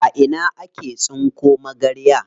A ina ake tsinko magarya?